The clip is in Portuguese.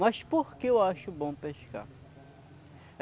Mas por que eu acho bom pescar?